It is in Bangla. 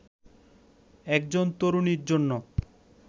একজন তরুণীর জন্য